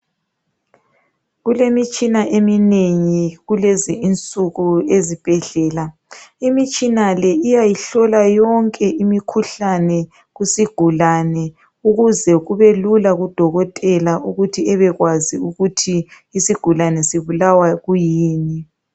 Kulemitshina eminengi kulezinsuku ezibhedlela, imitshina le iyayihlola yonke imikhuhlane kusigulane ukuze kubelula kudokotela ukuthi bebekwazi ukuthi isigulane sibulawa kuyini.